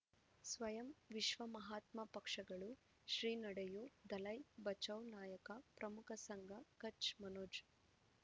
ಸ್ವಯಂ ವಿಶ್ವ ಮಹಾತ್ಮ ಪಕ್ಷಗಳು ಶ್ರೀ ನಡೆಯೂ ದಲೈ ಬಚೌ ನಾಯಕ ಪ್ರಮುಖ ಸಂಘ ಕಚ್ ಮನೋಜ್